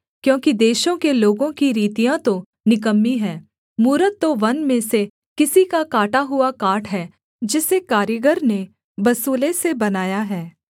क्योंकि देशों के लोगों की रीतियाँ तो निकम्मी हैं मूरत तो वन में से किसी का काटा हुआ काठ है जिसे कारीगर ने बसूले से बनाया है